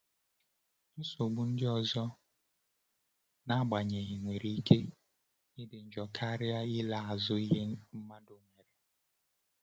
Nsogbu ndị ọzọ, n’agbanyeghị, nwere ike ịdị njọ karịa ịla azụ ihe mmadụ nwere.